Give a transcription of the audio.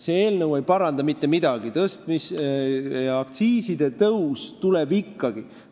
See eelnõu ei paranda mitte midagi, aktsiisitõus tuleb ikkagi.